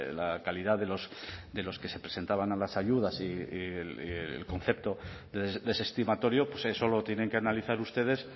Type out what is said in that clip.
la calidad de los que se presentaban a las ayudas y el concepto desestimatorio pues eso lo tienen que analizar ustedes